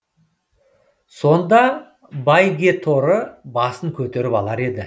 сонда бәйгеторы басын көтеріп алар еді